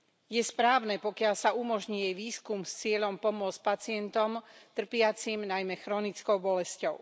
Je správne, pokiaľ sa umožní jej výskum s cieľom pomôcť pacientom trpiacim najmä chronickou bolesťou.